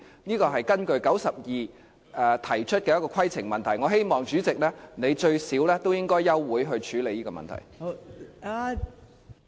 這是根據第92條提出的規程問題，我希望代理主席你最低限度也應該休會處理這個問題。